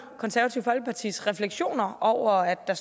konservative folkepartis refleksioner over at